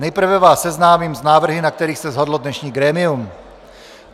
Nejprve vás seznámím s návrhy, na kterých se shodlo dnešní grémium.